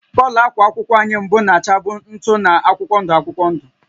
Kọlọ ákwà akwụkwọ anyị mbụ na-achabụ ntụ na akwụkwọ ndụ akwụkwọ ndụ